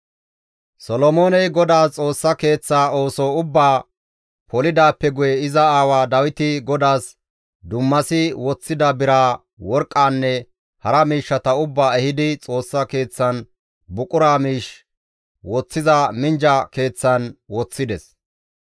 Solomooney GODAAS Xoossa Keeththaa ooso ubbaa polidaappe guye iza aawa Dawiti GODAAS dummasi woththida biraa, worqqaanne hara miishshata ubbaa ehidi, Xoossa keeththan buqura miish woththiza minjja keeththan woththides.